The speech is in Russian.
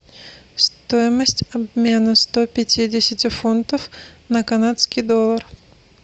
стоимость обмена сто пятидесяти фунтов на канадский доллар